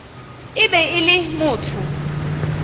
e be e le motho